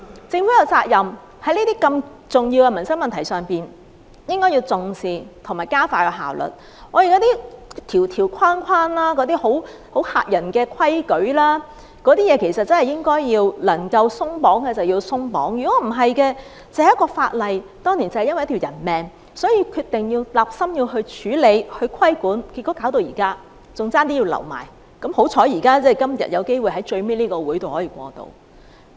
在如此重要的民生問題上，政府有責任重視和加快處理，那些條條框框、嚇人的規矩，可以鬆綁的便應該鬆綁，否則，只是一項源於當年一條人命的法例，雖然政府立心要處理和規管，但結果也拖到現在，差點處理不了，還好今天有機會在最後這個會議上通過。